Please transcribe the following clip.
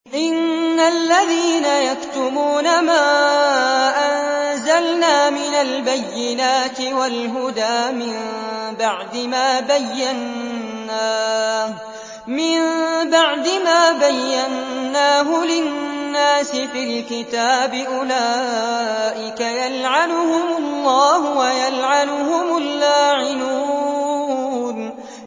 إِنَّ الَّذِينَ يَكْتُمُونَ مَا أَنزَلْنَا مِنَ الْبَيِّنَاتِ وَالْهُدَىٰ مِن بَعْدِ مَا بَيَّنَّاهُ لِلنَّاسِ فِي الْكِتَابِ ۙ أُولَٰئِكَ يَلْعَنُهُمُ اللَّهُ وَيَلْعَنُهُمُ اللَّاعِنُونَ